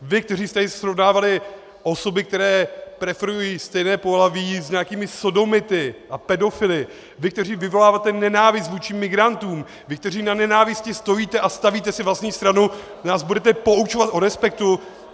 Vy, kteří jste tady srovnávali osoby, které preferují stejné pohlaví, s nějakými sodomity a pedofily, vy, kteří vyvoláváte nenávist vůči migrantům, vy, kteří na nenávisti stojíte a stavíte si vlastní stranu, nás budete poučovat o respektu?